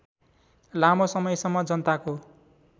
लामो समयसम्म जनताको